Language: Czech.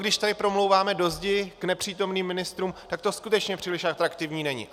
Když tady promlouváme do zdi k nepřítomným ministrům, tak to skutečně příliš atraktivní není.